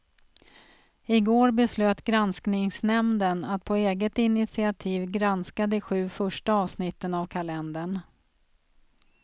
I går beslöt granskningsnämnden att på eget initiativ granska de sju första avsnitten av kalendern.